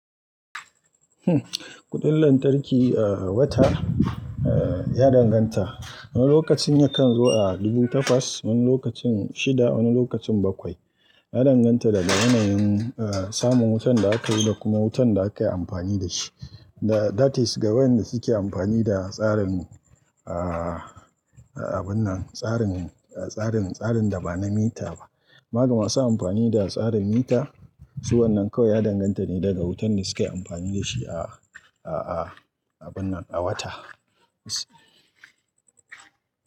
Kudin lantarki a wata ya danganta, wani lokacin yakan zo a dubu takwas, wani lokacin shida, wani lokacin bakwai. Ya danganta daga yanayin samun wutan da aka yi da kuma wutan da aka yi amfani da shi. Da, that is ga wayanda suke amfani da tsarin, ah, abun nan, tsarin, tsarin, tsarin da ba na mita ba. Ma gama su amfani da tsarin mita, su wannan kawai ya danganta ne daga wutan da suke amfani da shi a, a, abun nan a wata.